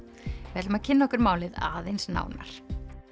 við ætlum að kynna okkur málið aðeins nánar